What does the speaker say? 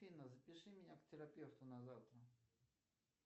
афина запиши меня к терапевту на завтра